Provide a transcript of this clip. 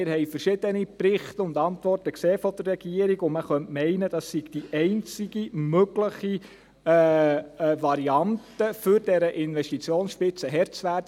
Wir haben verschiedene Antworten und Berichte der Regierung gesehen, und man könnte meinen, es sei die einzige mögliche Variante, um dieser Investitionsspitze Herr zu werden.